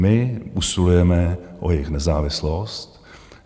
My usilujeme o jejich nezávislost.